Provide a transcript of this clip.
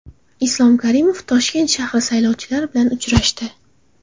Islom Karimov Toshkent shahri saylovchilari bilan uchrashdi.